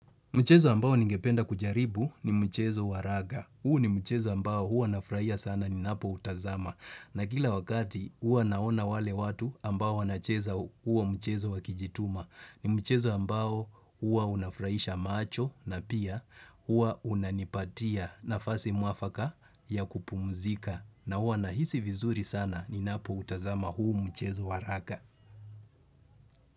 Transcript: Mchezo ambao ningependa kujaribu ni mchezo wa raga. Huu ni mchezo ambao hua nafurahia sana ninapoutazama. Na kila wakati huwa naona wale watu ambao wanacheza hua mchezo wakijituma. Ni mchezo ambao huwa unafurahisha macho na pia hua unanipatia nafasi mwafaka ya kupumzika. Na hua nahisi vizuri sana ninapoutazama huu mchezo wa raga.